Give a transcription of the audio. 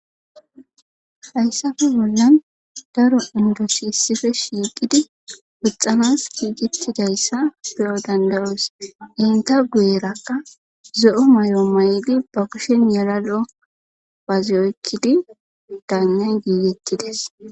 hayssafe bollan daro indosiissife shiiqidi puxxanas kiiqitidayssa beyo dandayoos inta gueerakka zo7o may7o mayli ba kushen yelalo baaziyoykkidi daannay giigettides